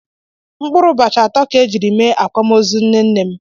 Mkpụrụ ụbọchị atọ ka e jiri mee akwamozu nne nnem.